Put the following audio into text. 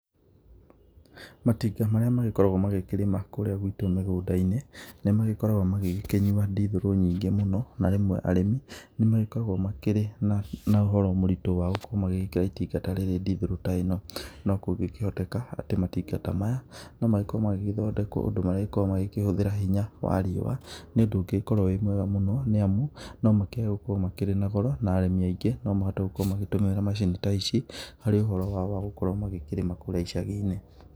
Matinga marĩa magĩkoragwo magĩkĩrima kũũrĩa gwitũ mĩgũnda-inĩ, nĩ magĩkoragwo magigĩkĩnyua ndithũrũ nyingĩ mũno, na rĩmwe arĩmi nĩ magĩkoragwo na ũhoro mũritũ wa gũkorwo magĩgĩkĩra itinga ta rĩrĩ ndithũrũ ta ĩno. No kũngĩkĩhoteka, atĩ matinga ta maya, no magĩkorwo magĩgĩthondekwo ũndũ manggĩĩkorwo magĩkĩhũthĩra hinya wa riũa, nĩ ũndũ ũngĩgĩkorwo wĩ mwega mũno nĩ amu, no makĩage gũkorwo makĩrĩ na goro na arĩmĩ aingĩ no mahote gũkorwo magĩtũmĩra macini ta ici harĩ ũhoro wao wa gũkorwo magĩkĩrĩma kũũrĩa icagi-inĩ.